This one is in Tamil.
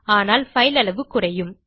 ஆனால் பைல் அளவு குறையும்